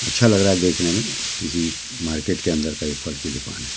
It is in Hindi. अच्छा लग रहा है देखने में किसी मार्केट के अंदर का ये फल की दुकान है।